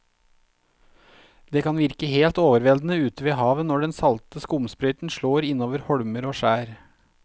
Det kan virke helt overveldende ute ved havet når den salte skumsprøyten slår innover holmer og skjær.